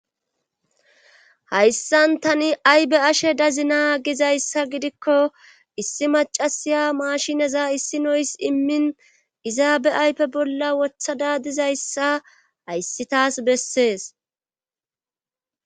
Hayssan tani ayi be'ashshe dazina gizayssa gidikko issi macasiya mashinaza issino izi immin izaaba ayfe bolla woththada dizayssa hayssi taas bessees